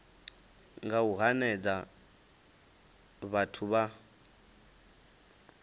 nga u hanedza vhathu vha